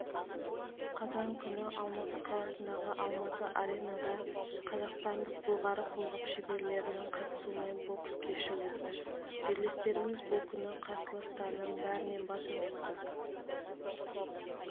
қазан күні алматы қаласындағы алматы аренада қазақстандық былғары қолғап шеберлерінің қатысуымен бокс кеші өтті жерлестеріміз бұл күні қарсыластарының бәрінен басым түсті